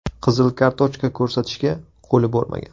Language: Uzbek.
Qizil kartochka ko‘rsatishga qo‘li bormagan.